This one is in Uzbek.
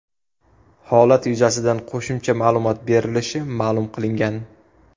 Holat yuzasidan qo‘shimcha ma’lumot berilishi ma’lum qilingan.